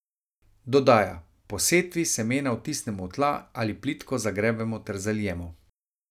Dodaja: "Po setvi semena vtisnemo v tla ali plitko zagrebemo ter zalijemo.